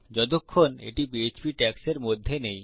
যতক্ষণ এটি পিএচপি ট্যাগ্সের মধ্যে নেই